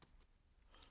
TV 2